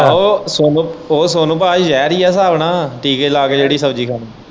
ਆਹੋ ਸੋਨੂੰ ਉਹ ਸੋਨੂੰ ਭਾਅ ਜ਼ਹਿਰ ਹੀ ਏ ਹਿਸਾਬ ਨਾਲ਼ ਟੀਕੇ ਲਾ ਕੇ ਜਿਹੜੀ ਸ਼ਬਜੀ ਖਾਣੀ।